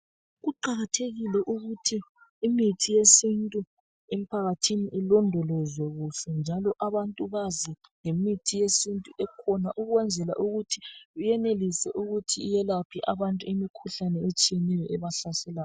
Kuqakathekile ukuthi imithi yesintu emphakathini ilondolozwe kuhle njalo abantu bazi ngemithi yesintu ekhona ukwenzela ukuthi benelise ukuthi yelaphe abantu imikhuhlane etshiyeneyo ebahlaselayo.